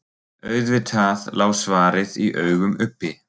Auðvitað lá svarið í augum uppi.